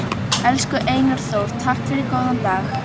Elsku Einar Þór, takk fyrir góðan dag.